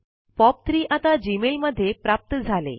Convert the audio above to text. POP3 आता Gmail मध्ये प्राप्त झाले